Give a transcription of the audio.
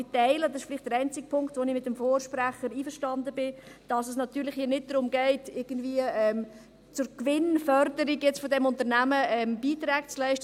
Ich teile aber – dies ist vielleicht der einzige Punkt, in dem ich mit dem Vorredner einverstanden bin – die Ansicht, dass es hier nicht darum geht, irgendwie zur Gewinnförderung dieses Unternehmens Beiträge zu leisten.